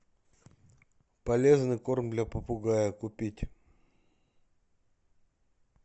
полезный корм для попугая купить